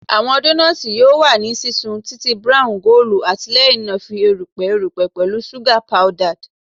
Awọn donuts yoo wa ni sisun titi brown goolu ati lẹhinna fi erupẹ erupẹ pẹlu suga powdered